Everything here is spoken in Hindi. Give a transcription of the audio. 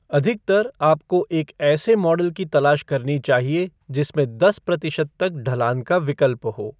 अधिकतर, आपको एक ऐसे मॉडल की तलाश करनी चाहिए जिसमें दस प्रतिशत तक ढलान का विकल्प हो।